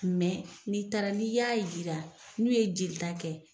n'i taara n'i y'a yira n'u ye jeli ta kɛ